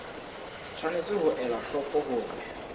tshwanetse ho ela hloko hore